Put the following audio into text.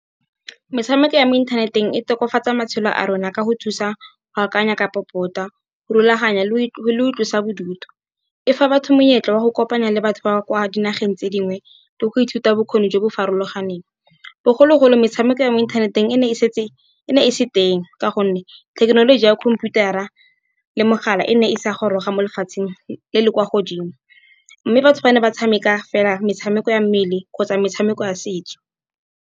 Metshameko ya mo inthaneteng e tokafatsa matshelo a rona ka go thusa go akanya ka popota, go rulaganya le boitlosa bodutu. E fa batho monyetla wa go kopana le batho ba kwa dinageng tse dingwe le go ithuta bokgoni jo bo farologaneng. Bogologolo metshameko ya mo inthaneteng e ne e se teng ka gonne, thekenoloji ya khomputara le mogala e ne e sa goroga mo lefatsheng le le kwa godimo. Mme batho ba ne ba tshameka fela metshameko ya mmele, kgotsa metshameko ya setso.